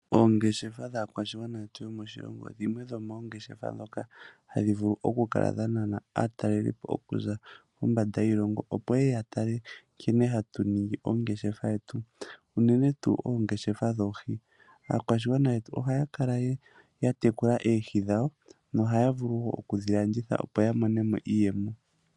Oongeshefa dhaakwaashigwana yetu yomoshilongo dhimwe dhoomongeshefa dhoka hadhivulu okukala dhanana aatalelipo okuza, kombanda yiilongo, opo yeye yatale nkene hatu ningi oogeshefa yetu uune tuu oogeshefa dhoohi. Aakwashigwana yetu oha ya kala yatekula oohi dhawo nohayavulu wo okudhilanditha opo yamonemo iiyemo.